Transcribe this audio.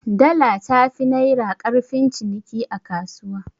Dala tafi naira ƙarfin ciniki a kasuwa?